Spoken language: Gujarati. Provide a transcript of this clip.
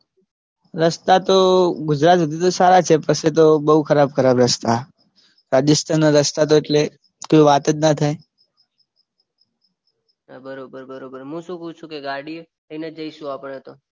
રસ્તા તો ગુજરાત સુધી તો સારા છે પછી તો બહુ ખરાબ ખરાબ રસ્તા. રાજસ્થાનના રસ્તા તો કઈ વાત જ ના થાય. બરોબર હું શું પૂછું કે ગાડી લઈ ને જઈશું આપણેતો